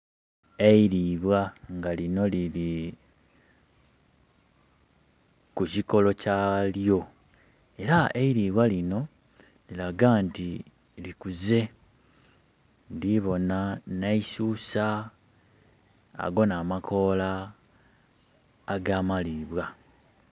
Eilibwa nga lino liri ku kukikolo kya lyo, era eilibwa lino liraga nti likuze ndhibona neisusa aga n'amakoola agamalibwa.